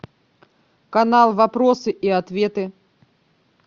канал вопросы и ответы